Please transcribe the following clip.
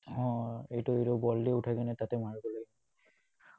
উম এইটো এইটো বল দি উঠাই তাতে মাৰিব লাগে।